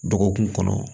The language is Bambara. Dɔgɔkun kɔnɔ